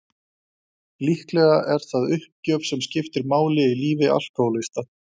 Líklega er það uppgjöf sem skiptir máli í lífi alkohólista.